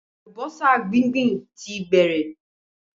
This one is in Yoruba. Àlùbọ́sà gbíǹgbíǹ ti bẹ̀rẹ̀